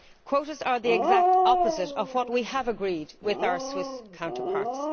Quotas are the exact opposite of what we have agreed with our Swiss counterparts.